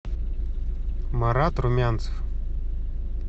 марат румянцев